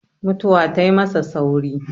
mutuwa tai masa sauri